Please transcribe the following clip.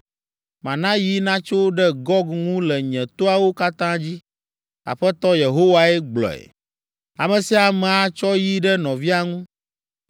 Mana yi natso ɖe Gog ŋu le nye toawo katã dzi. Aƒetɔ Yehowae gblɔe. Ame sia ame atsɔ yi ɖe nɔvia ŋu.